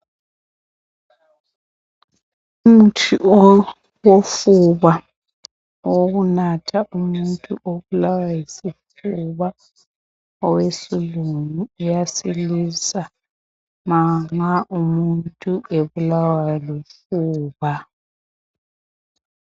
umuthi owofuba owokunatha umuntu obulawa yisifuba owesilungu uyasilisa manxa umuntu ebulawa lufuba